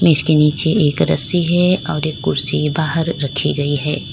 इसके नीचे एक रस्सी है और एक कुर्सी बाहर रखी गई है।